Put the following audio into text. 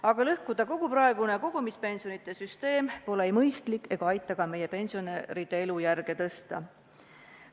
Aga lõhkuda kogu praegune kogumispensionide süsteem pole ei mõistlik ega aita see ka meie pensionäride elujärge parandada.